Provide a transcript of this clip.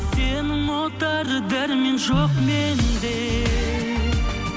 сені ұмытар дәрмен жоқ менде